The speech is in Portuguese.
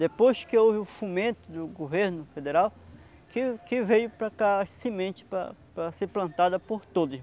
Depois que houve o fomento do governo federal, que que veio para cá para para ser plantada por todos.